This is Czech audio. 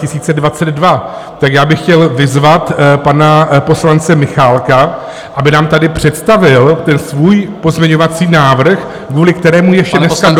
Tak já bych chtěl vyzvat pana poslance Michálka, aby nám tady představil ten svůj pozměňovací návrh, kvůli kterému ještě dneska dopoledne...